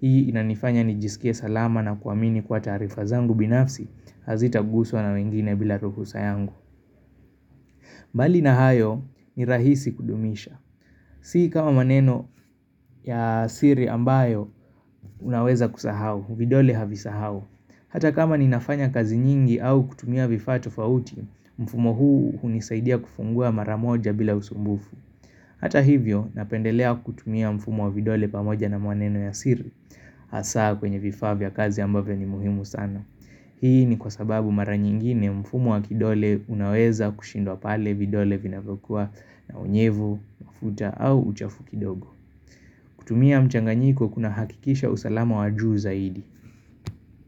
Hii inanifanya nijisike salama na kuwamini kwa taarifa zangu binafsi Hazitaguswa na wengine bila ruhusa yangu mbali na hayo ni rahisi kudumisha Si kama maneno ya siri ambayo unaweza kusahau vidole havisahau Hata kama ninafanya kazi nyingi au kutumia vifaa tofauti Mfumo huu hunisaidia kufungua maramoja bila usumbufu Hata hivyo napendelea kutumia mfumo wa vidole pamoja na maneno ya siri hasaa kwenye vifaa vya kazi ambavyo ni muhimu sana Hii ni kwa sababu mara nyingine mfumo wa kidole unaweza kushindwa pale vidole vinavyokuwa na unyevu, mafuta au uchafu kidogo kutumia mchanganyiko kuna hakikisha usalama wa juu zaidi.